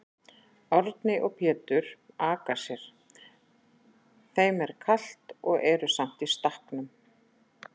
Árni og Pétur aka sér, þeim er kalt og eru samt í stakknum.